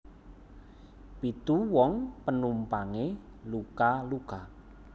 Pitu wong penumpange luka luka